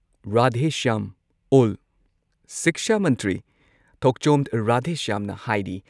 ꯔꯥꯙꯦꯁ꯭ꯌꯥꯝ ꯑꯣꯜ ꯁꯤꯛꯁꯥ ꯃꯟꯇ꯭ꯔꯤ ꯊꯣꯛꯆꯣꯝ ꯔꯥꯙꯦꯁ꯭ꯌꯥꯝꯅ ꯍꯥꯏꯔꯤ